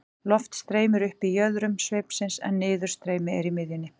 Loft streymir upp í jöðrum sveipsins en niðurstreymi er í miðjunni.